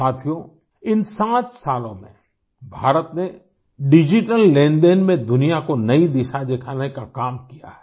साथियोंइन 7 सालों में भारत ने डिजिटल लेन देन में दुनिया को नई दिशा दिखाने का काम किया है